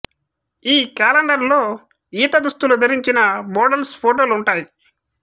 ఈ క్యాలెండర్ లో ఈత దుస్తులు ధరించిన మోడల్స్ ఫోటోలు ఉంటాయి